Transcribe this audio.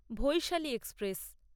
Vaishali express